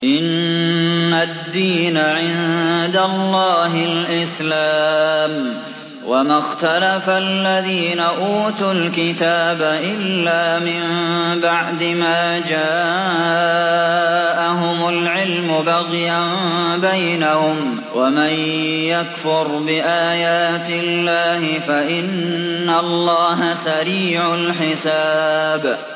إِنَّ الدِّينَ عِندَ اللَّهِ الْإِسْلَامُ ۗ وَمَا اخْتَلَفَ الَّذِينَ أُوتُوا الْكِتَابَ إِلَّا مِن بَعْدِ مَا جَاءَهُمُ الْعِلْمُ بَغْيًا بَيْنَهُمْ ۗ وَمَن يَكْفُرْ بِآيَاتِ اللَّهِ فَإِنَّ اللَّهَ سَرِيعُ الْحِسَابِ